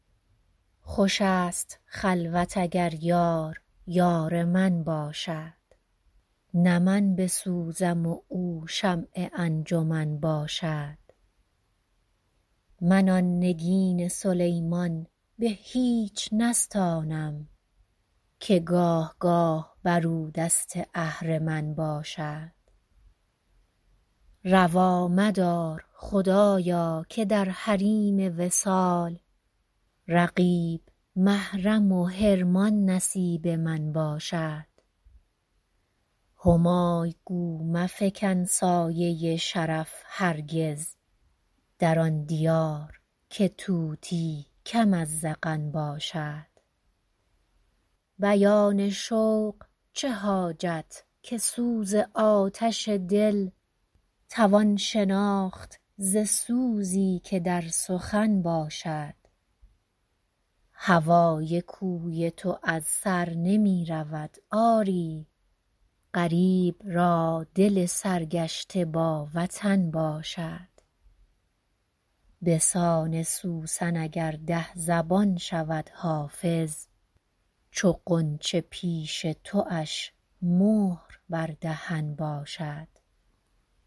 خوش است خلوت اگر یار یار من باشد نه من بسوزم و او شمع انجمن باشد من آن نگین سلیمان به هیچ نستانم که گاه گاه بر او دست اهرمن باشد روا مدار خدایا که در حریم وصال رقیب محرم و حرمان نصیب من باشد همای گو مفکن سایه شرف هرگز در آن دیار که طوطی کم از زغن باشد بیان شوق چه حاجت که سوز آتش دل توان شناخت ز سوزی که در سخن باشد هوای کوی تو از سر نمی رود آری غریب را دل سرگشته با وطن باشد به سان سوسن اگر ده زبان شود حافظ چو غنچه پیش تواش مهر بر دهن باشد